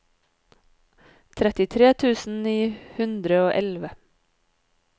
trettitre tusen ni hundre og elleve